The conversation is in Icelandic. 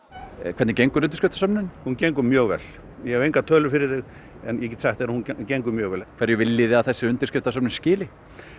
hvernig gengur undirskriftasöfnunin hún gengur mjög vel ég hef engar tölur fyrir þig en ég get sagt að hún gengur mjög vel hverju viljið þið að þessi undirskriftasöfnun skili